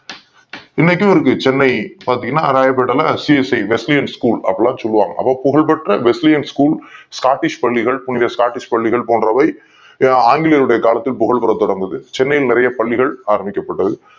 இன்னைக்கும் இருக்கு சென்னையில ராயப்பேட்டையில் CSI Besiliane school அப்படின்னு சொல்லுவாங்க புகழ் பெற்ற Besiliane school Scottish பள்ளிகள் போன்றவை ஆங்கிலேயர்கள் உடைய காலத்தில் புகழ் பெற தொடங்குது சென்னையில் நிறைய பள்ளிகள் ஆரம்பிக்கப் பட்டது